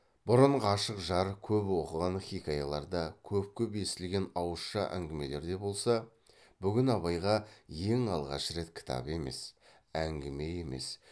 бұрын ғашық жар көп оқыған хиқаяларда көп көп естілген ауызша әңгімелерде болса бүгін абайға ең алғаш рет кітап емес әңгіме емес